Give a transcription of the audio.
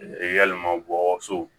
Yalima gɔ so